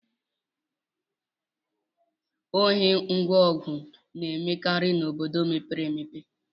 Ohi ngwa ọgụ na-emekarị n'obodo mepere emepe